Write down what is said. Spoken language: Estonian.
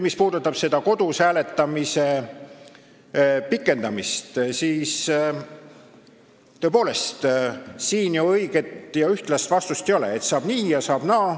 Mis puudutab kodus hääletamise aja pikendamist, siis tõepoolest, siin ei ole õiget ja ühtlast vastust, saab nii ja saab naa.